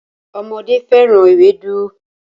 Ọmọdé féràn Ewédú.